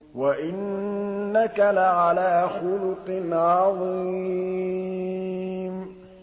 وَإِنَّكَ لَعَلَىٰ خُلُقٍ عَظِيمٍ